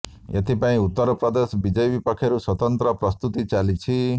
ଏଥିପାଇଁ ଉତ୍ତର ପ୍ରଦେଶ ବିଜେପି ପକ୍ଷରୁ ସ୍ବତନ୍ତ୍ର ପ୍ରସ୍ତୁତି ଚାଲିଛି